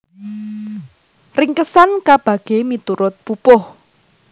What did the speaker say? Ringkesan kabagé miturut pupuh